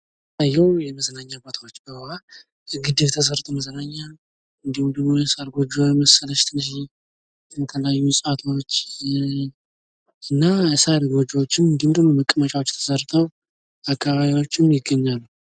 የሚታየው የመዝናኛ ቦታወች በውሀ ግድብ ተሰርተው። መዝናኛ እንዲሁም ደግሞ የሳር ጎጆ የመሰለች ትንሽዬ እና የሳር ጎጆወችም እንዲሁም መቀመጫዎች ተሰርተው አካባቢያቸው ላይ ይገኛሉ።